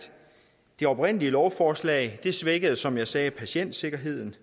det oprindelige lovforslag svækkede som jeg sagde patientsikkerheden